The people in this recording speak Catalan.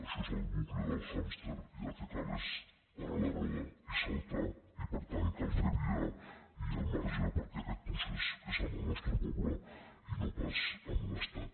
això és el bucle del hàmster i el que cal és parar la roda i saltar i per tant cal fer via i al marge perquè aquest procés és amb el nostre poble i no pas amb l’estat